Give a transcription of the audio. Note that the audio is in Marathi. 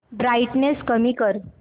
ब्राईटनेस कमी कर